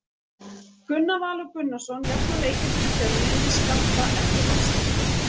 Gunnar Valur Gunnarsson jafnar leikinn fyrir Fjölni með skalla eftir hornspyrnu.